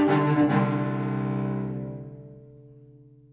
nú